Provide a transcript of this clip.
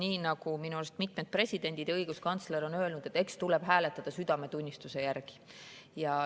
Nii nagu minu arust mitmed presidendid ja õiguskantsler on öelnud, et eks tuleb hääletada südametunnistuse järgi.